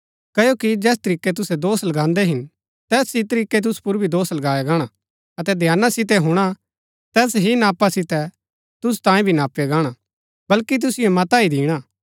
क्ओकि जैस तरीकै तुसै दोष लगान्दै हिन तैस ही तरीकै तुसु पुर भी दोष लगाया गाणा अतै ध्याना सितै हुणा जैस नापा सितै तुसै नापदै हिन तैस ही नापा सितै तुसु तांयें भी नापया गाणा बल्कि तुसिओ मता ही दिणा हा